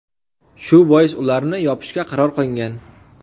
Shu bois ularni yopishga qaror qilingan.